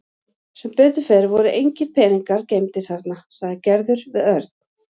Sem betur fer voru engir peningar geymdir þarna sagði Gerður við Örn.